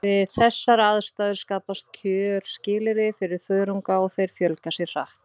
Við þessar aðstæður skapast kjörskilyrði fyrir þörunga og þeir fjölga sér hratt.